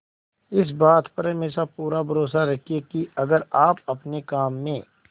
इस बात पर हमेशा पूरा भरोसा रखिये की अगर आप अपने काम में